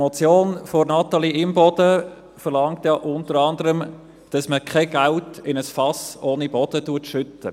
Die Motion von Natalie Imboden verlangt ja unter anderem, dass man kein Geld in ein Fass ohne Boden schüttet.